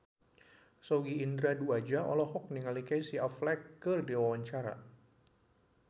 Sogi Indra Duaja olohok ningali Casey Affleck keur diwawancara